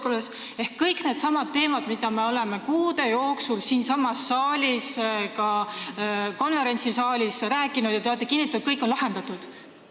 Ehk need on kõik needsamad teemad, millest me oleme kuude jooksul siinsamas saalis ja ka konverentsisaalis rääkinud ning te olete kinnitanud, et kõik on lahendatud.